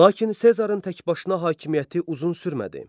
Lakin Sezarın təkbaşına hakimiyyəti uzun sürmədi.